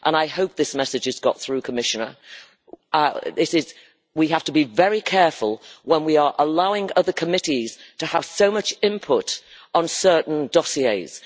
I hope this message has got through, Commissioner, namely that we have to be very careful when we allow other committees to have so much input on certain dossiers.